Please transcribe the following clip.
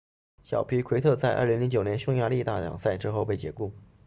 小皮奎特在2009年匈牙利大奖赛之后被解雇